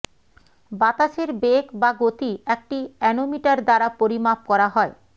বাতাসের বেগ বা গতি একটি অ্যানোমিটার দ্বারা পরিমাপ করা হয়